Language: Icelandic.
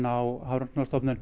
á